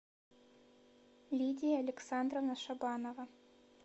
лидия александровна шабанова